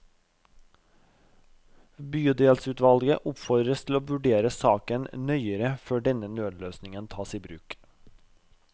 Bydelsutvalget oppfordres til å vurdere saken nøyere før denne nødløsningen tas i bruk.